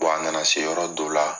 a nana se yɔrɔ don la